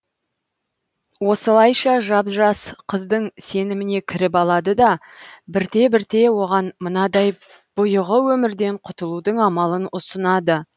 осылайша жап жас қыздың сеніміне кіріп алады да бірте бірте оған мынадай бұйығы өмірден құтылудың амалын ұсынады